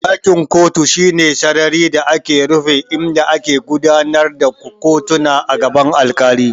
Ɗakin kotu shine sarari da ke rufe inda ake gudanar da kotuna a gaban alkali.